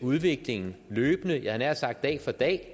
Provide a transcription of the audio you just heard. udviklingen løbende jeg havde nær sagt dag for dag